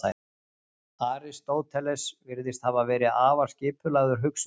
aristóteles virðist hafa verið afar skipulagður hugsuður